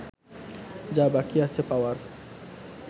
যা বাকি আছে পাওয়ার